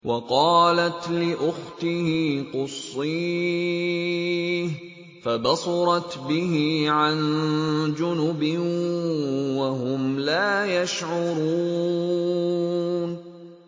وَقَالَتْ لِأُخْتِهِ قُصِّيهِ ۖ فَبَصُرَتْ بِهِ عَن جُنُبٍ وَهُمْ لَا يَشْعُرُونَ